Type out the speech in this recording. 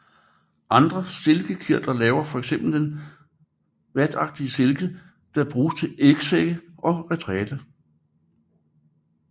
Andre silkekirtler laver fx den vatagtige silke der bruges til ægsække og retræte